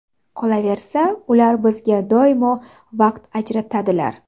Qolaversa, ular bizga doimo vaqt ajratadilar.